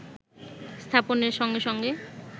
স্থাপনের সঙ্গে সঙ্গে